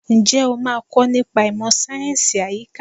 Ǹjẹ́ o máa kọ nípa ìmọ̀ sáyẹ̀nsì àyíká?